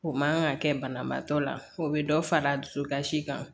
O man kan ka kɛ banabaatɔ la o bɛ dɔ fara a dusukasi kan